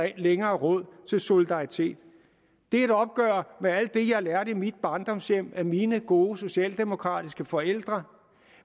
ikke længere råd til solidaritet det er et opgør med alt det jeg lærte i mit barndomshjem af mine gode socialdemokratiske forældre